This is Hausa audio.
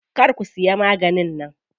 Kar ku siya maganin nan.